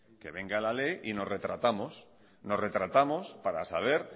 que venga la ley y nos retratamos nos retratamos para saber